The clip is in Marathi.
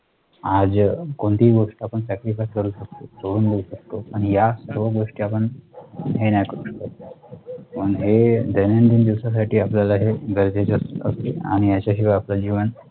आज अह कोणतीही गोष्ट आपण sacrifice करू शकतो करून देऊ शकतो आणि याच दोन गोष्टी आपण हेनाही करू शकत. पण हे दैनंदिन दिवसा साठी आपल्या ला हे गरजेचे असते आणि याच्याशिवाय आपलं जीवन